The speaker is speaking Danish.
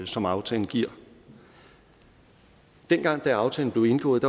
som aftalen giver dengang aftalen blev indgået